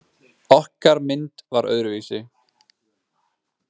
Okkar mynd var öðruvísi.